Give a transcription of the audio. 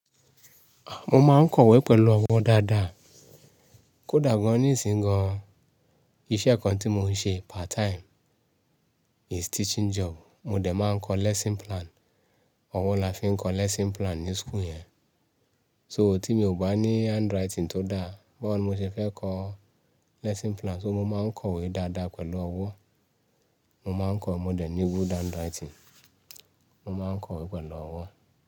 À, mo máa ń kọ̀wé pẹ̀lú ọwọ́ dáadáa. Kódà gan-an ní ìsìn gan-an, iṣẹ́ kan tí mò ń ṣe part time is teaching job. Mo dẹ̀ máa ń kọ lesson plan. Ọwọ́ la fi ń kọ lesson plan ní school yẹn. So tí mi ò bá ní handwriting tó dáa, bawoni mo ṣe fẹ́ kọ lesson plan, so mo máa ń kọ̀wé dáadáa pẹ̀lú ọwọ́. Mo máa ń kọ, mo dẹ̀ ní good handwriting. Mo máa ń kọ̀wé pẹ̀lú ọwọ́